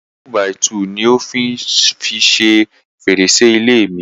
Igi túbàìtuùni ó fi ń o fi ṣe fèrèsé ilé mi.